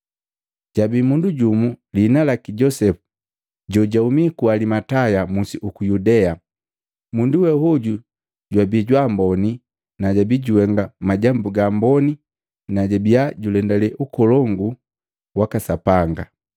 Jabii mundu jumu, lihina laki Josepu jojahumi ku Alimataya musi uku Yudea. Mundu we hoju jwabii jwa amboni na jabii juhenga majambu ga amboni na jabia julendale Ukolongu waka Sapanga.